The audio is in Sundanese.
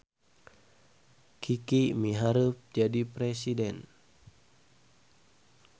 Kiki miharep jadi presiden